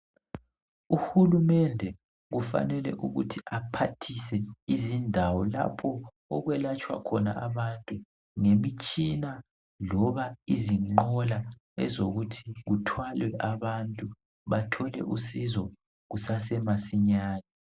Uhulumende kufanele ukuthi aphathise izindawo lapho okwelatshwakhona abantu ngemitshina loba izinqola ezokuthi kuthwalwe abantu bathole usizo kusesemasinyane..